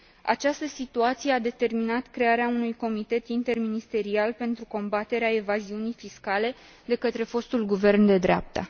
Această situație a determinat crearea unui comitet interministerial pentru combaterea evaziunii fiscale de către fostul guvern de dreapta.